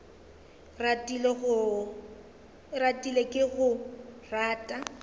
ratile ke a go rata